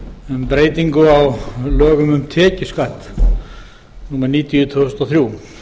um breytingu á lögum um tekjuskatt númer níutíu tvö þúsund og þrjú